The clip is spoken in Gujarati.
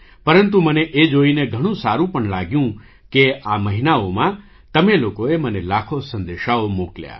પરંતુ મને એ જોઈને ઘણું સારું પણ લાગ્યું કે આ મહિનાઓમાં તમે લોકોએ મને લાખો સંદેશાઓ મોકલ્યા